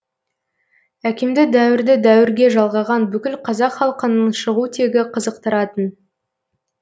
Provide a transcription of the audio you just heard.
әкемді дәуірді дәуірге жалғаған бүкіл қазақ халқының шығу тегі қызықтыратын